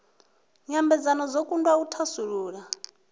nyambedzano dzo kundwa u thasulula